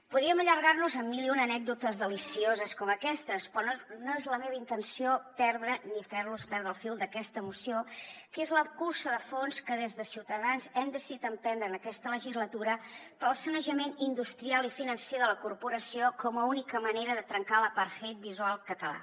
podríem allargar nos amb mil i una anècdotes delicioses com aquestes però no és la meva intenció perdre ni fer los perdre el fil d’aquesta moció que és la cursa de fons que des de ciutadans hem decidit emprendre en aquesta legislatura per al sanejament industrial i financer de la corporació com a única manera de trencar l’apartheid visual català